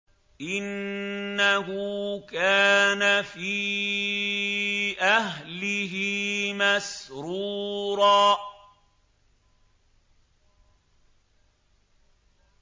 إِنَّهُ كَانَ فِي أَهْلِهِ مَسْرُورًا